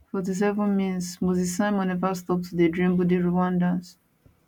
47mins moses simon neva stop to dey dribble di rwandans